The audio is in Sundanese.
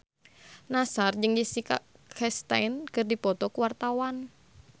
Nassar jeung Jessica Chastain keur dipoto ku wartawan